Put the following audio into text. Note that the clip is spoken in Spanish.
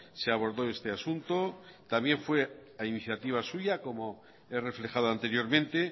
se abordó este asunto también fue a iniciativa suya como he reflejado anteriormente